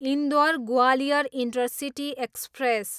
Indore, Gwalior intercity express